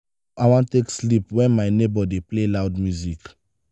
how i wan take sleep wen my nebor dey play loud music?